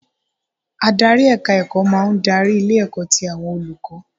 Adarí èka ẹ̀kọ́ máa ń darí ilé ẹ̀kọ́ ti àwọn olùkọ́